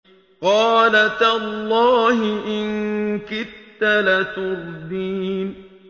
قَالَ تَاللَّهِ إِن كِدتَّ لَتُرْدِينِ